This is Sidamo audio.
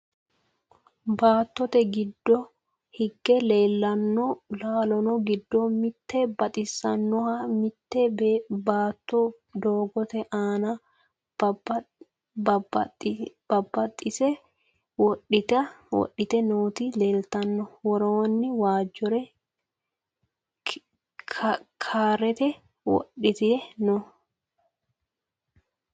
Baattote giddo hige laalanno laalo giddo mittu baxaxeessaho. Mitte beetto doogote aana baxaxeesa wodhite nooti leeltanno. Woroonni waajjore karte wodhite no.